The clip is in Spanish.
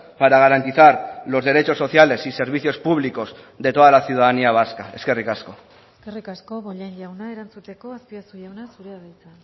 para garantizar los derechos sociales y servicios públicos de toda la ciudadanía vasca eskerrik asko eskerrik asko bollain jauna erantzuteko azpiazu jauna zurea da hitza